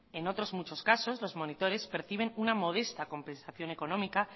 en otros muchos casos los monitores perciben una modesta compensación económica